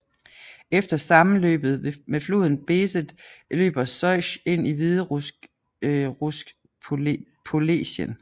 Efter sammenløbet med floden Besed løber Sosj ind i hviderussisk polesien